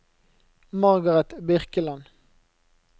Margaret Birkeland